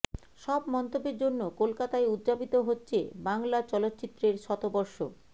সব মন্তব্যের জন্য কলকাতায় উদযাপিত হচ্ছে বাংলা চলচ্চিত্রের শতবর্ষ